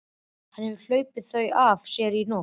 Hann hefur hlaupið þau af sér í nótt.